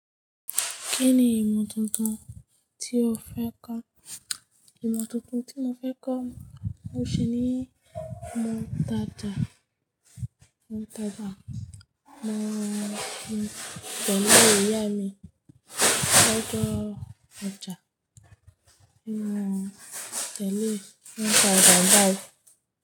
Kí ni ìmọ̀ tuntun tí o fẹ́ kọ́? Ìmọ̀ tuntun tí mo fẹ́ kọ́, ó ṣe ni ìmọ̀ ìtajà, ìmọ̀ ìtajà. Máa tẹ̀lé ìyá mi lọ́jọ́ ọjà, kí n máa tẹ̀lé lọ́jà Dange.